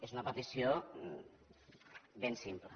és una petició ben simple